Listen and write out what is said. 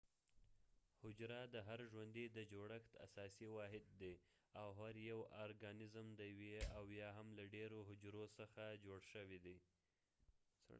حجره د هر ژوندي د جوړښت اساسی واحد دي او هر یو ارګانزم د یوې او یا هم له ډیرو حجرو څخه جوړ شوي دي